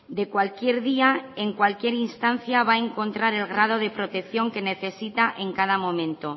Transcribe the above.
de cualquier día y en cualquier instancia va a encontrar el grado de protección que necesita en cada momento